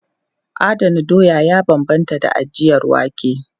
Adana doya ya bambanta da ajiyar wake.